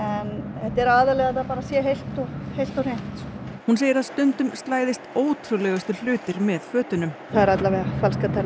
þetta er aðallega að þetta sé heilt og heilt og hreint hún segir að stundum slæðist ótrúlegustu hlutir með fötunum það er allavega falskar tennur